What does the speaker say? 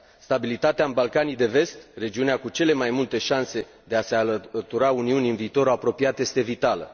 Stabilitatea în Balcanii de Vest, regiunea cu cele mai multe șanse de a se alătura Uniunii în viitorul apropiat este vitală.